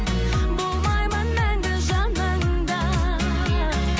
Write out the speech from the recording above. болмаймын мәңгі жаныңда